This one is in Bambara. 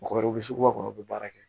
Mɔgɔkɔrɔbaw bi suguba kɔnɔ u bɛ baara kɛ